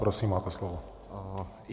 Prosím, máte slovo.